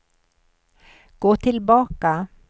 gå tillbaka